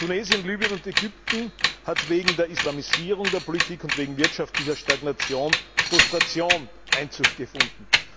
In Tunesien, Libyen und Ägypten hat wegen der Islamisierung der Politik und wegen wirtschaftlicher Stagnation Frustration Einzug gefunden.